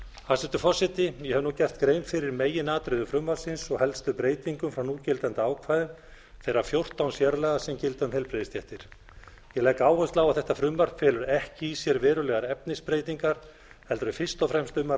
hæstvirtur forseti ég hef nú gert grein fyrir meginatriðum frumvarpsins og helstu breytingum frá núgildandi ákvæðum þeirra fjórtán sérlaga sem gilda um heilbrigðisstéttir ég legg áherslu á að þetta frumvarp felur ekki í sér verulegar efnisbreytingar heldur er fyrst og fremst um að